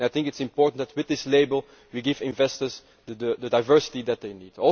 I think it is important that with this label we give investors the diversity that they need.